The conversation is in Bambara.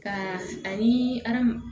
Ka ani aramu